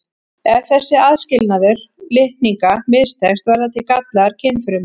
Ef þessi aðskilnaður litninga mistekst verða til gallaðar kynfrumur.